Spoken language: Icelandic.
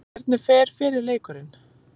Hvernig fer fyrri leikurinn?